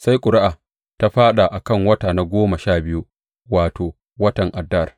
Sai ƙuri’a ta fāɗa a kan wata na goma sha biyu, wato, watan Adar.